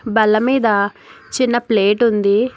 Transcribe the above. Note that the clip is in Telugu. బల్లమీద చిన్న ప్లేట్ ఉంది.